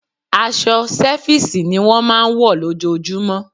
Aṣọ sẹfísì ni wọ́n máa ń wọ̀ lójojúmọ́.